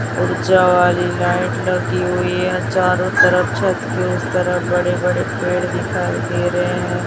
ऊर्जा वाली लाइट लगी हुई है चारों तरफ छत के उस तरफ बड़े बड़े पेड़ दिखाई दे रहे हैं।